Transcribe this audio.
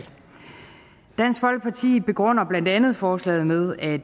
dansk folkeparti begrunder blandt andet forslaget med at